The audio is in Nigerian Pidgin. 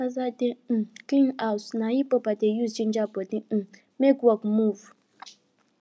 as i dey um clean house na hiphop i dey use ginger body um make work move